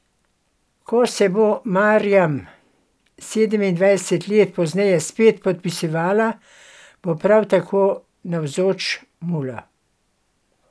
Ko se bo Marjam sedemindvajset let pozneje spet podpisovala, bo prav tako navzoč mula.